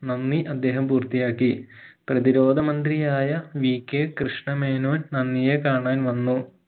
നന്ദി അദ്ദേഹം പൂർത്തിയാക്കി പ്രതിരോധ മന്ത്രിയായ VK കൃഷ്ണമേനോൻ നന്ദിയെ കാണാൻ വന്നു